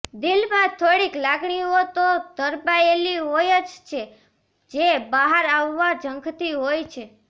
દિલમાં થોડીક લાગણીઓ તો ધરબાયેલી હોય જ છે જે બહાર આવવા ઝંખતી હોય છે